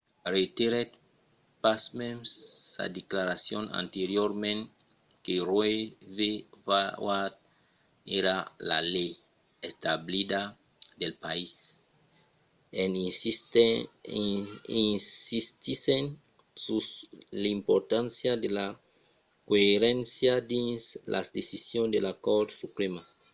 reiterèt pasmens sa declaracion anteriorament que roe v. wade èra la lei establida del país en insistissent sus l’importància de la coeréncia dins las decisions de la cort suprèma